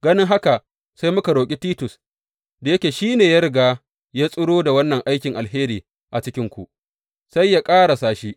Ganin haka sai muka roƙi Titus, da yake shi ne ya riga ya tsiro da wannan aikin alheri a cikinku, sai yă ƙarasa shi.